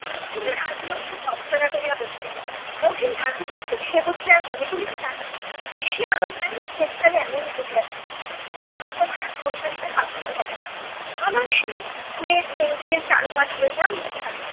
কিন্তু রাজলক্ষী ভর্ৎসনা করিয়া বলিতেন মহিন ডাকিতেছে সে বুঝি আর কানে তুলিতে নাই, বেশি আদর পাইলে শেষকালে এমনি ঘটিয়া থাকে। যাও তোমার আর তরকারিতে হাত দিতে হবে না। আবার সে platepencil চারুপাঠ লইয়া